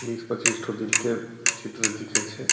बीस पच्चीस ठो दिल के चित्र दिखै छे।